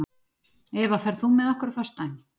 Eva, ferð þú með okkur á föstudaginn?